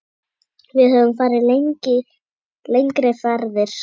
Við höfum farið lengri ferðir.